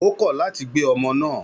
Ó kọ̀ láti gbé ọmọ náà